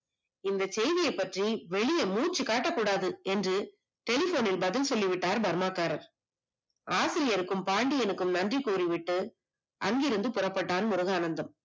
இந்த செய்திய பற்றி வெளில முச்சு காட்டகூடாது என்று telephone னில் பதில் சொல்லி விட்டார் பர்மாகாரர், ஆசிரியர்க்கும் பாண்டியனுக்கும் நன்றி கூறிவிட்டு அங்கிருந்து புறப்பட்டான் முருகானந்தம்.